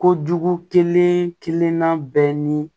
Kojugu kelen kelenna bɛɛ ni